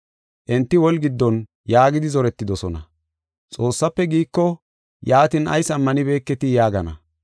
Enti woli giddon yaagidi zoretidosona: “Xoossafe giiko yaatin, ayis ammanibeketii?” yaagana.